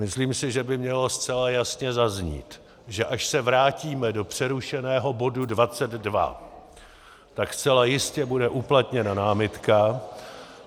Myslím si, že by mělo zcela jasně zaznít, že až se vrátíme do přerušeného bodu 22, tak zcela jistě bude uplatněna námitka.